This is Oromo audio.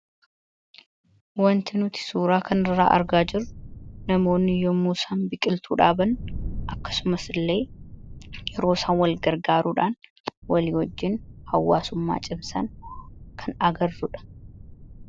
wanti nuti suuraa kan irraa argaa jiru namoonni yommusaan biqiltuu dhaaban akkasumas illee yeroo san walgar gaaruudhaan walii wajjiin hawwaasummaa cibsaan kan agarruudha